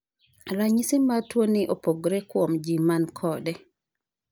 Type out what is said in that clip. Ranyisi mar tuo ni opogore kuom ji man kode .